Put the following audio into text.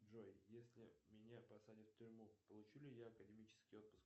джой если меня посадят в тюрьму получу ли я академический отпуск